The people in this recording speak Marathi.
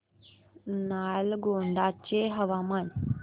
नालगोंडा चे हवामान